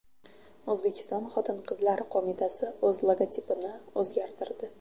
O‘zbekiston Xotin-qizlar qo‘mitasi o‘z logotipini o‘zgartirdi.